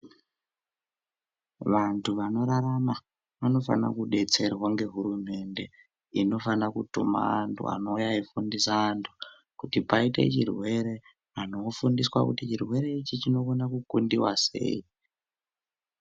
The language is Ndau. Vantu vanorarama vanofana kudetserwa nehurumende inofana kutima antu anouya eifundisa vantu kuti paite chirwere, chirwere ichi chinofana kukundiwa sei.